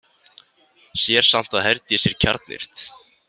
Sér samt að Herdís er kjarnyrt.